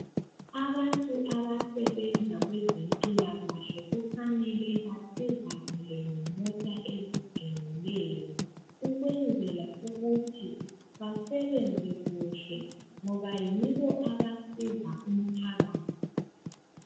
Abantu abasebenza kwezempilakahle kufanele basizakale ngemota eziqinileyo ukwenzela ukuthi basebenze kuhle ngoba yibo abasiza umphakathi.